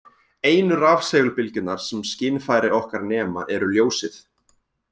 Einu rafsegulbylgjurnar sem skynfæri okkar nema eru ljósið.